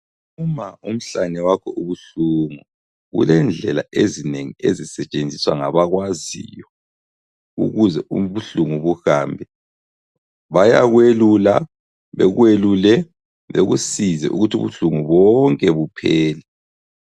Uma umhlane wakho ubuhlungu, kulendlela ezinengi ezisetshenziswa ngabakwaziyo ukuze ubuhlungu buhambe. Bayakwelula ,bekwelule bekusize ukuthi ubuhlungu bonke buphele.